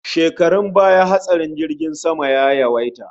Shekarun baya hatsarin jirgin sama ya yawaita